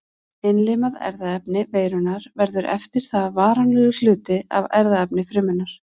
Innlimað erfðaefni veirunnar verður eftir það varanlegur hluti af erfðaefni frumunnar.